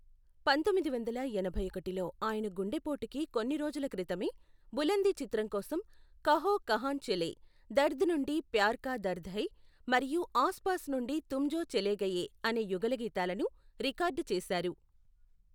పంతొమ్మిది వందల ఎనభై ఒకటిలో ఆయన గుండె పోటుకి కొన్ని రోజుల క్రితమే బులంది చిత్రం కోసం కహో కహాన్ చలే, దర్ద్ నుండి ప్యార్ కా దర్ద్ హై, మరియు ఆస్ పాస్ నుండి తుం జో చలే గయే అనే యుగళగీతాలను రికార్డ్ చేశారు.